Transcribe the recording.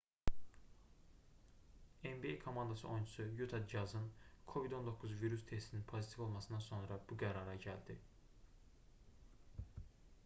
nba komandası oyunçusu yuta cazın covid-19 virus testinin pozitiv olmasından sonra bu qərara gəldi